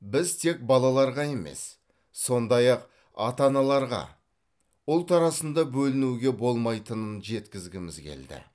біз тек балаларға емес сондай ақ ата аналарға ұлт арасында бөлінуге болмайтынын жеткізгіміз келді